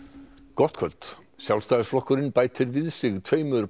gott kvöld Sjálfstæðisflokkurinn bætir við sig tveimur